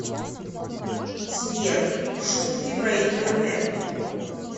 сбер шутки про интернет